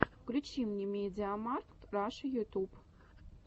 включи мне медиамаркт раша ютуб